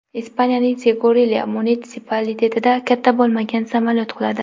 Ispaniyaning Segurilya munitsipalitetida katta bo‘lmagan samolyot quladi.